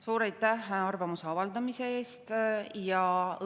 Suur aitäh arvamuse avaldamise eest!